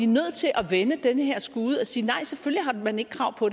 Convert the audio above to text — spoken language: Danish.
nødt til at vende den her skude og sige at nej selvfølgelig har man ikke krav på